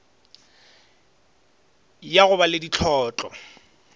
ya go ba le dihlotlo